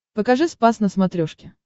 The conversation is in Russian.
покажи спас на смотрешке